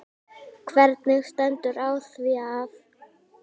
Hvernig stendur á því að